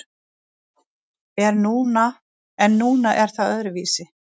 En núna er það öðruvísi.